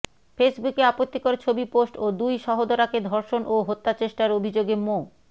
ফেসবুকে আপত্তিকর ছবি পোস্ট ও দুই সহোদরাকে ধর্ষণ ও হত্যাচেষ্টার অভিযোগে মো